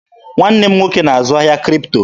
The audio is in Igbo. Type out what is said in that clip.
Nwanne m nwoke na-azụ ahịa Kripto.